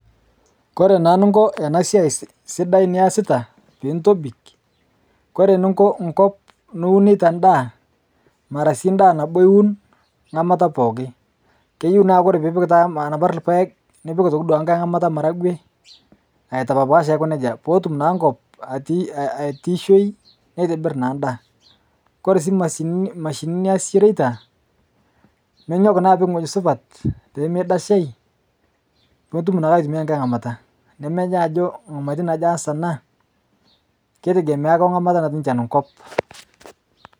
kore naa ninkoo anaa siai sidai niasitaa piintobik kore ninkoo nkop nuuneitaa ndaa maraa sii ndaa nabo iwun nghamata pooki keyeu taa kore piipik taa anapar lpaeg nipik otokii duakee nghai nghamata maragwee aitapapaash aikoo nejaa pootum naa nkop atiishoi neitibir naa ndaa. Kore sii mashininii niasishoreitaa ninyok naa apik nghojii supat pemeidashai nutum naake aitiumiai nghai nghamataa nemenyaa ajoo nghamatin ajoo iyas anaa keitegemea akee onkataa natii nchan nkop.